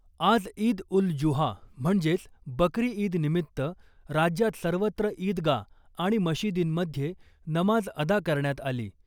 आज ईद उल जुहा म्हणजेच बकरी ईद निमित्त राज्यात सर्वत्र इदगा आणि मशिदींमध्ये नमाज अदा करण्यात आली .